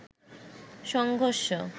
সংঘর্ষ